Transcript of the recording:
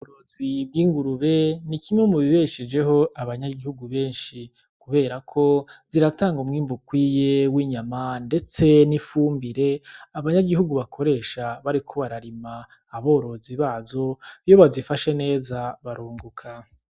Urozi rw'ingurube ni kimwe mu bibeshejeho abanyagihugu benshi, kuberako ziratanga umwimbu ukwiye w'inyama ndetse n'ifumbire abanyagihugu bakoresha bariko bararima, aborozi bazo iyo bazifashe neza barunguka.